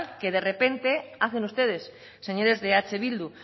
que de repente hacen ustedes señores de eh bildu